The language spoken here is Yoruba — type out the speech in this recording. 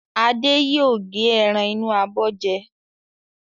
Adé yóò gé ẹran inú abọ́ jẹ.